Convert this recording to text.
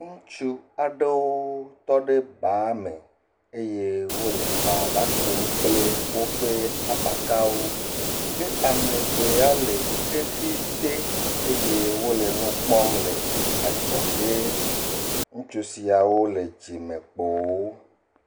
Ŋutsu aɖewo tɔ ɖe ba me eye wole bala kum kple wiƒe abakawo, kea me eve ya le xɖxi te eye wole nu kpɔm le adzɔ ge. Ŋutsu siawo le dzime kpo wo.